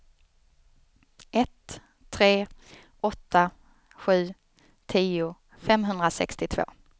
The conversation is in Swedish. ett tre åtta sju tio femhundrasextiotvå